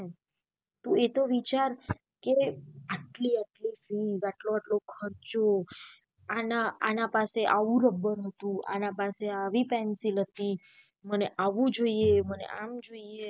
તું એતો વિચાર કે આટલી આટલી fee આટલો આટલો ખર્ચો આના આના પાસે આવું રબર હતું આના પાસે આવી pencil હતી મને એવું જોઈએ મને આમ જોઈએ.